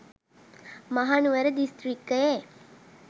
Mahanuwara දිස්ත්‍රකික්යේ